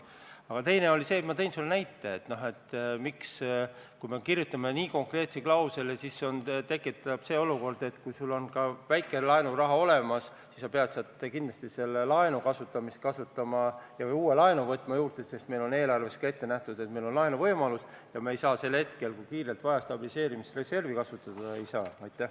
Aga teine oli see, mille kohta ma tõin sulle ka näite: kui me kirjutame eelnõusse nii konkreetse klausli, siis tekib see olukord, et kui sul on juba väike laenuraha olemas, siis sa pead kindlasti selle ära kasutama ja ka uue laenu juurde võtma, sest eelarves on ette nähtud, et meil on laenuvõimalus, ja sel hetkel, kui meil on kiirelt vaja stabiliseerimisreservi kasutada, me seda teha ei saa.